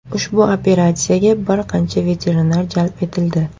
Ushbu operatsiyaga bir qancha veterinar jalb etildi.